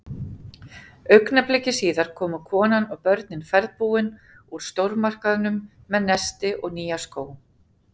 Augnabliki síðar komu konan og börnin ferðbúin úr stórmarkaðnum með nesti og nýja skó.